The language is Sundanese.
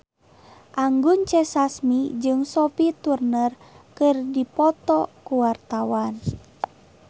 Anggun C. Sasmi jeung Sophie Turner keur dipoto ku wartawan